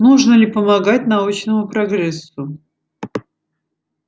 нужно ли помогать научному прогрессу